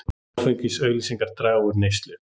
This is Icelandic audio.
Áfengisauglýsingar draga úr neyslu